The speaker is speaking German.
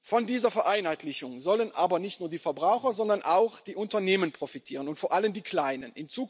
Von dieser Vereinheitlichung sollen aber nicht nur die Verbraucher, sondern auch die Unternehmen profitieren, vor allem die kleinen.